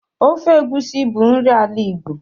Ofe Egusi bụ nri ala Igbo.